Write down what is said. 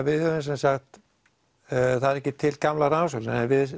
við höfum þá sem sagt það er ekki til gamlar rannsóknir en við